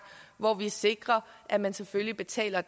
hvor vi sikrer at man selvfølgelig betaler